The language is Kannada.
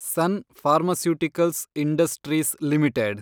sun Pharmaceuticals Industries limited